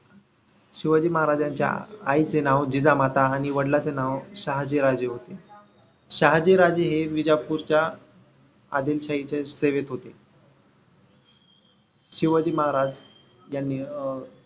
शिवाजी महाराज यांच्या आईचे नाव जिजामाता आणि वडिलांचे नाव शहाजी राजे होते. शहाजी राजे हे विजापुरच्या आदिल शाहीच्या सेवेत होते. शिवाजी महाराज यांनी अं